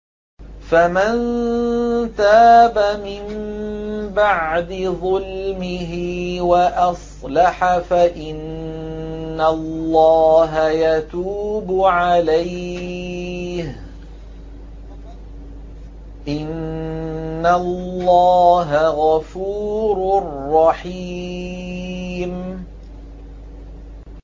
فَمَن تَابَ مِن بَعْدِ ظُلْمِهِ وَأَصْلَحَ فَإِنَّ اللَّهَ يَتُوبُ عَلَيْهِ ۗ إِنَّ اللَّهَ غَفُورٌ رَّحِيمٌ